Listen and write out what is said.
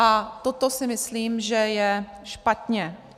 A toto si myslím, že je špatně.